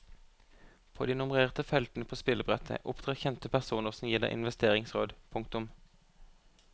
På de nummererte feltene på spillebrettet opptrer kjente personer som gir deg investeringsråd. punktum